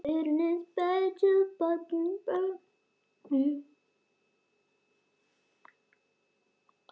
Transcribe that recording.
Set kryppu á bakið.